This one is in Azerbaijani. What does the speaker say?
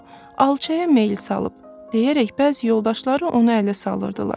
Yox, alçaya meyl salıb deyərək bəzi yoldaşları onu ələ salırdılar.